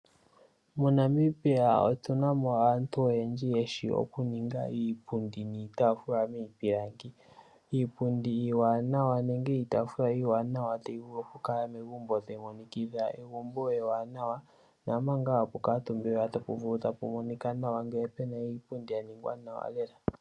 MoNamibia omu na aantu oyendji mboka yeshi oku ninga iipundi niitafula miipilangi, iipundi niitafula iiwanawa ta yi vulu oku kala megumbo opo yi vule oku monikitha megumbo muuwanaa.